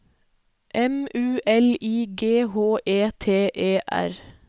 M U L I G H E T E R